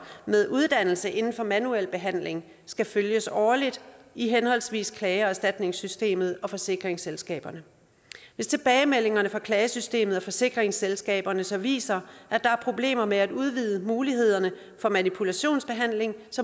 med uddannelse inden for manuel behandling skal følges årligt i henholdsvis klage og erstatningssystemet og hos forsikringsselskaberne hvis tilbagemeldingerne fra klagesystemet og forsikringsselskaberne så viser at der er problemer med at udvide mulighederne for manipulationsbehandling